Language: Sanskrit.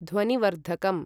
ध्वनिवर्धकम्